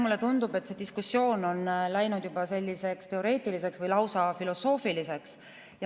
Mulle tundub, et see diskussioon on läinud juba teoreetiliseks või lausa filosoofiliseks.